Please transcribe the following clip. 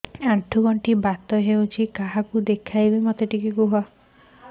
ଆଣ୍ଠୁ ଗଣ୍ଠି ବାତ ହେଇଚି କାହାକୁ ଦେଖାମି